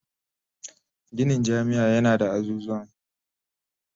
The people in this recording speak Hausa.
Ginin jami'a yana da azuzuwan